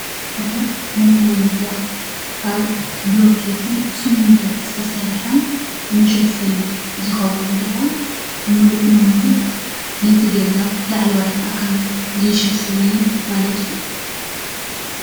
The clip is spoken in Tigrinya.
ቆርቆሮ ነቲ መንደቅ ካብ ብሎኬትን ስሚንቶን ዝተሰርሐ መሸፈኒ ዝከውን እንትኮን ምሉእ ንሙሉእ ነቲ ገዛ ላዕለዋይ ኣካሉ ዝሽፍን ማለት እዩ፡፡